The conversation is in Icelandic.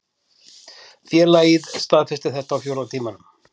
Félagið staðfesti þetta á fjórða tímanum